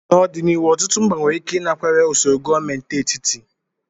N'ọdịnihu, ọtụtụ mba nwere ike ịnakwere usoro gọọmentị etiti.